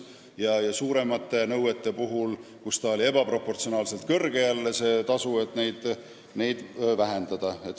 Samas suuremate nõuete puhul on see tasu jälle ebaproportsionaalselt suur olnud ja seda tuleks vähendada.